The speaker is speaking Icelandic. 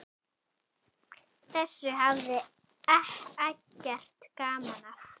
Þessu hafði Eggert gaman af.